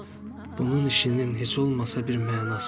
Bunun işinin heç olmasa bir mənası var.